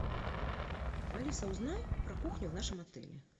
алиса узнай про кухню в нашем отеле